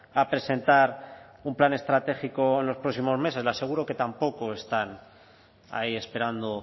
a presentar un plan estratégico en los próximos meses le seguro que tampoco están ahí esperando